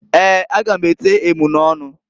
Eeǃ A ga m ete emunọnụ.